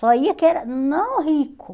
Só ia quem era não rico.